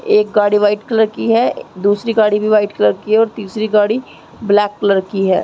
एक गाड़ी white colour की है दूसरी गाड़ी भी वाइट कलर की है और तीसरी गाड़ी ब्लैक कलर की है।